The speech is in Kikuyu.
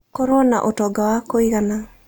Korwo na ũtonga wa kũigana.